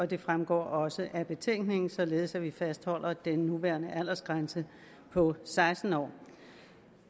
det fremgår også af betænkningen således at vi fastholder den nuværende aldersgrænse på seksten år